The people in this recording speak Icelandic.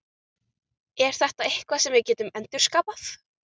Er þetta eitthvað sem við getum endurskapað?